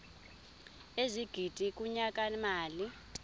ezigidi kunyaka mali